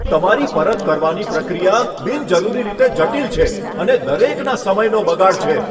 તમારી પરત કરવાની પ્રક્રિયા બિનજરૂરી રીતે જટિલ છે અને દરેકના સમયનો બગાડ છે.